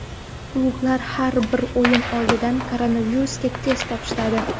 Klublar har bir o‘yin oldidan koronavirusga test topshiradi.